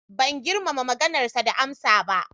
Ban girmama maganarsa da amsa ba.